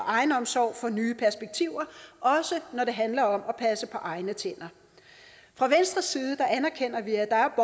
egenomsorg for nye perspektiver også når det handler om at passe på egne tænder fra venstres side anerkender vi at der